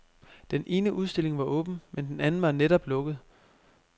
Den ene udstilling var åben, men den anden var netop lukket.